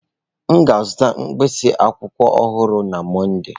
M ga-azụta mkpịsị akwụkwọ ọhụrụ na Mọnde.